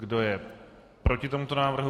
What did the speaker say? Kdo je proti tomuto návrhu?